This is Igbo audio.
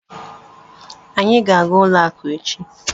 Anyị ga-aga n'ụlọ akụ echi.